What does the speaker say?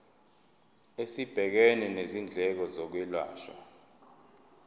esibhekene nezindleko zokwelashwa